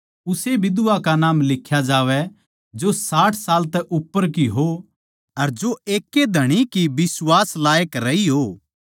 उस्से बिधवा का नाम लिख्या जावै जो साठ साल तै उप्पर की हो अर जो एकै ए धणी की बिश्वास लायक रही हों